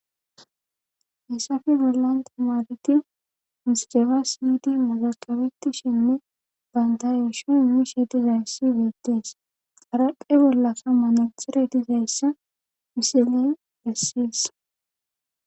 Hessafe bollan tomadeti miscefa sydi mugaxabeti shinne bayndayeshu mishe dizayssi beettees qaraqe bollasa manatire dizayssa misilen essis.